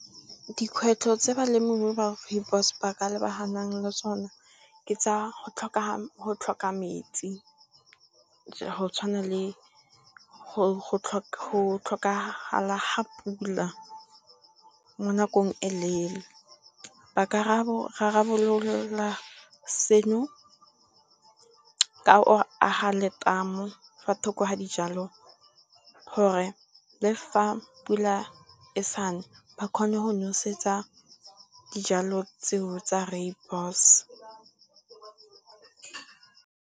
Dikgwetlho tse balemirui ba Rooibos ba ka lebaganang le tsone ke tsa go tlhoka metsi, go tshwana le go tlhokagala ga pula mo nakong e leele ba ka rarabolola seno ka go aga letamo fa thoko ga dijalo gore le fa pula e sa ne ba kgone go nosetsa dijalo tseo tsa Rooibos.